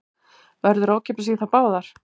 Verður ókeypis í þær báðar